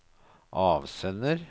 avsender